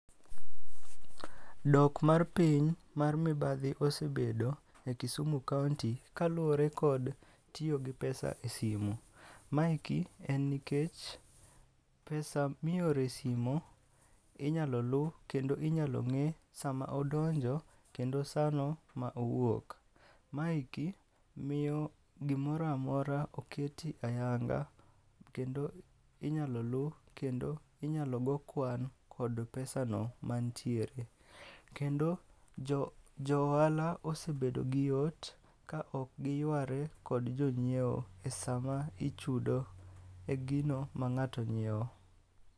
Dok mar piny mar mibadhi osebedo e Kisumu kaonti kaluwore kod tiyo gi pesa e simu. Maeki en nikech pesa mioro e simo, inyalo lu kendo inyalo ng'e sama odonjo kendo sano ma owuok. Maeki miyo gimoramora oketi ayanga, kendo inyalo lu kendo inyalo go kwan kod pesa no mantiere. Kendo jo ohala osebedo gi yot ka ok giyware kod jonyiewo e sama ichudo e gino ma ng'ato nyiewo.